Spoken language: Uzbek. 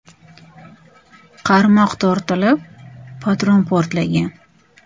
Qarmoq tortilib, patron portlagan.